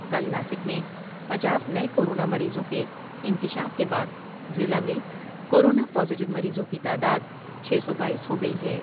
کل ناسک میں پچاس نئے کورونا مریضوں کے انکشاف کے بعد ضلع میں کورونا پازیٹو مریضوں کی تعداد چھ سو باییس ہوگئی ہے ۔